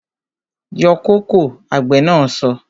Yọ kóko! Àgbè na so